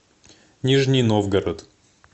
нижний новгород